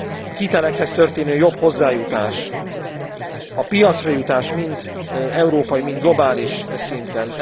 A hitelekhez történő jobb hozzájutás, a piacra jutás mind európai, mind globális szinten.